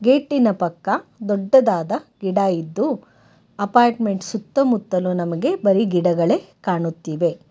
Gate ಇನ ಪಕ್ಕ ದೊಡ್ಡದಾದ ಗಿಡಯಿದ್ದು ಅಪಾರ್ಟ್ಮೆಂಟ್ ಸುತ್ತಮುತ್ತಲು ನಮಗೆ ಬರಿ ಗಿಡಗಳೇ ಕಾಣುತ್ತಿವೆ.